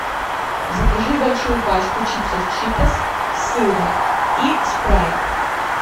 закажи большую пачку чипсов читос с сыром и спрайт